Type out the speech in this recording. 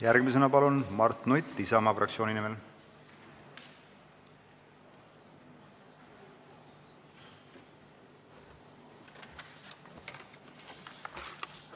Järgmisena palun Mart Nutt Isamaa fraktsiooni nimel!